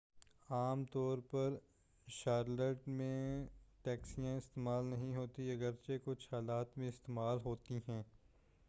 عام طور پر شارلٹ میں ٹیکسیاں استعمال نہیں ہوتیں اگرچہ کچھ حالات میں استعمال ہوتیں ہیں